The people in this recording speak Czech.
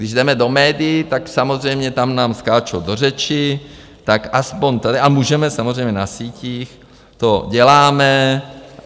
Když jdeme do médií, tak samozřejmě tam nám skáčou do řeči, tak aspoň tady a můžeme samozřejmě na sítích, to děláme.